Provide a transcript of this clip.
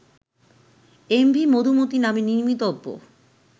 MV Madhumati নামে নির্মিতব্য